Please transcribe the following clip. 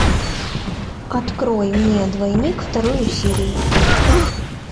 открой мне двойник вторую серию